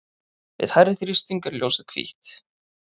við hærri þrýsting er ljósið hvítt